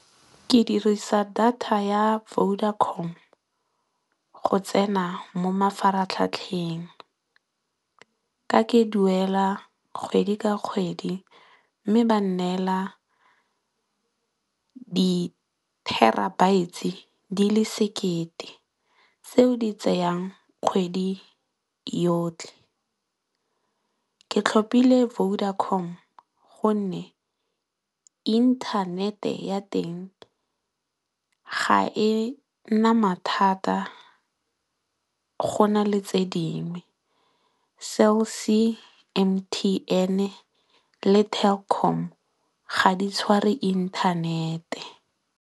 Ke dirisa data ya Vodacom go tsena mo mafaratlhatlheng ka ke duela kgwedi ka kgwedi mme, ba neela di terabytes di le sekete tseo di tseyang kgwedi yotlhe. Ke tlhopile Vodacom gonne, inthanete ya teng ga e na mathata go na le tse dingwe, Cell C, M_T_N le Telkom ga di tshware inthanete.